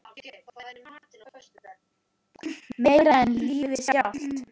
Meira en lífið sjálft.